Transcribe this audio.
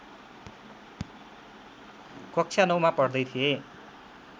कक्षा नौमा पढ्दै थिए